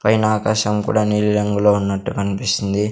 పైన ఆకాశం కూడా నీలిరంగులో ఉన్నట్టు కన్పిస్తుంది.